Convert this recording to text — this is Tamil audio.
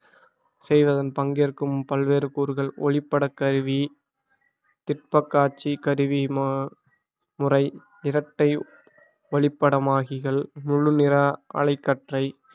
செய்வதன் பங்கேற்கும் பல்வேறு கூறுகள் ஒளிப்பட கருவி பிற்பகாட்சி கருவி மா~ முறை இரட்டை ஓளிப்படமாகிகள் முழுநிற அலைக்கற்றை